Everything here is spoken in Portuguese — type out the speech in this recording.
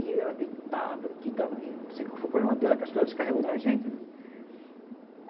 E ela gritava, não sei qual foi o problema dela, acho que ela descarregou na gente, né.